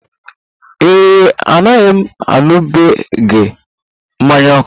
Ee e, anaghị m aṅụbiga mmanya ókè.